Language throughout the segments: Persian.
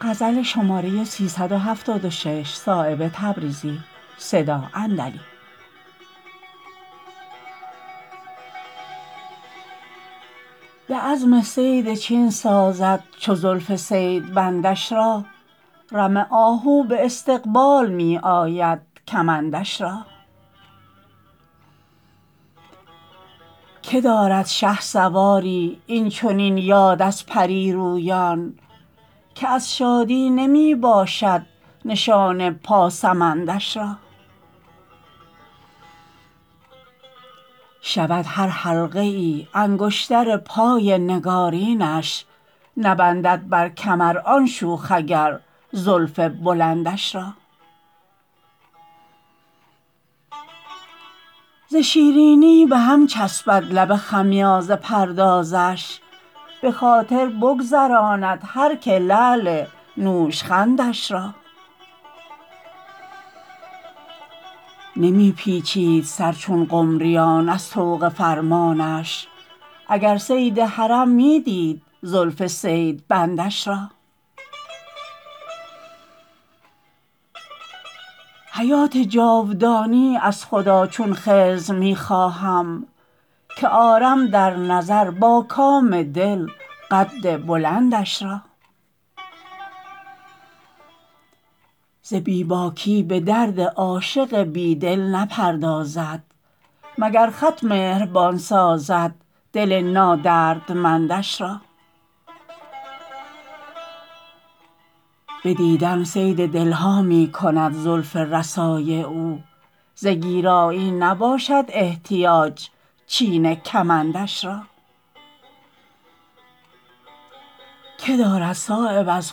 به عزم صید چین سازد چو زلف صیدبندش را رم آهو به استقبال می آید کمندش را که دارد شهسواری این چنین یاد از پری رویان که از شادی نمی باشد نشان پاسمندش را شود هر حلقه ای انگشتر پای نگارینش نبندد بر کمر آن شوخ اگر زلف بلندش را ز شیرینی به هم چسبد لب خمیازه پردازش به خاطر بگذراند هر که لعل نوشخندش را نمی پیچید سر چون قمریان از طوق فرمانش اگر صید حرم می دید زلف صید بندش را حیات جاودانی از خدا چون خضر می خواهم که آرم در نظر با کام دل قد بلندش را ز بی باکی به درد عاشق بی دل نپردازد مگر خط مهربان سازد دل نادردمندش را به دیدن صید دلها می کند زلف رسای او ز گیرایی نباشد احتیاج چین کمندش را که دارد صایب از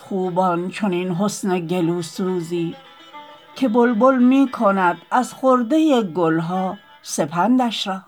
خوبان چنین حسن گلوسوزی که بلبل می کند از خرده گلها سپندش را